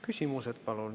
Küsimused.